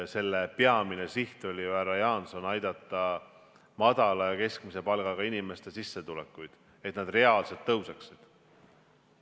Selle peamine siht oli ju, härra Jaanson, aidata madala ja keskmise palgaga inimesi, et nende sissetulekud reaalselt tõuseksid.